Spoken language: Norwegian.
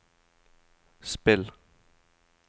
spill